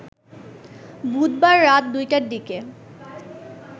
বুধবার রাত ২টার দিকে